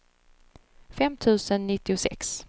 fem tusen nittiosex